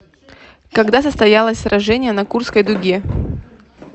когда состоялась сражение на курской дуге